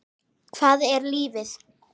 Hvað er lífið?